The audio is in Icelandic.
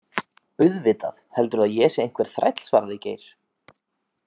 Auðvitað, heldurðu að ég sé einhver þræll svaraði Geir.